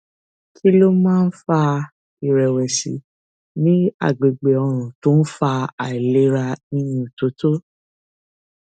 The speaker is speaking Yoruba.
kí ló máa ń fa ìrèwèsì ní àgbègbè ọrùn tó ń fa àìlera ìyúntótó